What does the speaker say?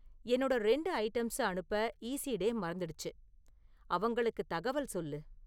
என்னோட ரெண்டு ஐட்டம்ஸ அனுப்ப ஈஸிடே மறந்துடுச்சு அவங்களுக்குத் தகவல் சொல்லு